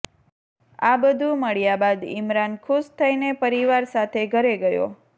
આ બધું મળ્યા બાદ ઈમરાન ખુશ થઈને પરિવાર સાથે ઘરે ગયો